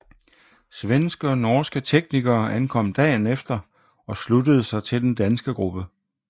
Svenske og norske teknikere ankom dagen efter og sluttede sig til den danske gruppe